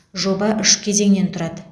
жоба үш кезеңнен тұрады